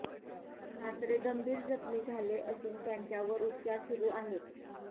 सासरे गंभीर जखमी झाले असून त्यांच्यावर उपचार सुरु आहेत